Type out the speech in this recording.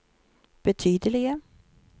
betydelige